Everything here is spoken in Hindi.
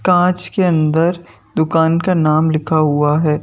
कांच के अंदर दुकान का नाम लिखा हुआ है।